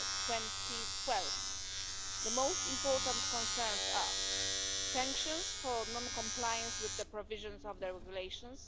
2012. The most important concerns are sanctions for non compliance with the provisions of the regulations